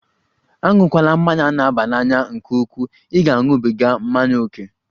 Aṅụkwala mmanya na-aba n'anya nke ukwuu! Ị ga-aṅụbiga mmanya ókè.